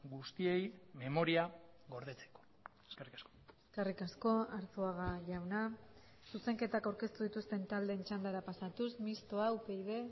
guztiei memoria gordetzeko eskerrik asko eskerrik asko arzuaga jauna zuzenketak aurkeztu dituzten taldeen txandara pasatuz mistoa upyd